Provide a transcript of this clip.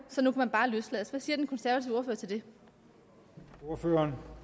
så nu kan man bare løslades hvad siger den konservative ordfører